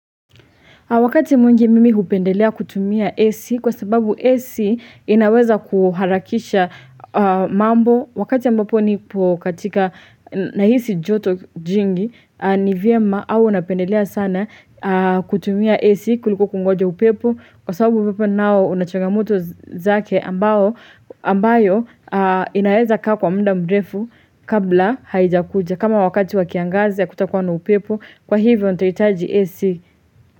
Wakati mwingi mimi hupendelea kutumia AC kwa sababu AC inaweza kuharakisha mambo. Wakati ambapo nipo kukatika nahisi joto jingi ni vyema au napendelea sana kutumia AC kuliko kungoja upepo, Kwa sababu upepo nao unachogamoto zake ambao ambayo inaweza kaa kwa mda mrefu kabla haijakuja. Kama wakati wakiangazi hakutakuwa na upepo kwa hivyo nitahitaji AC.